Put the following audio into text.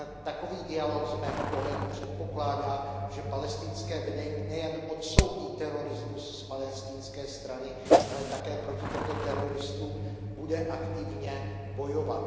Takový dialog z mého pohledu předpokládá, že palestinské vedení nejen odsoudí terorismus z palestinské strany, ale také proti těmto teroristům bude aktivně bojovat.